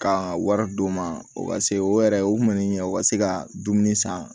Ka wari d'u ma o ka se o yɛrɛ o man ni u ka se ka dumuni san